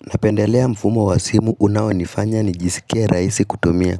Napendelea mfumo wa simu unaonifanya nijisikie rahisi kutumia.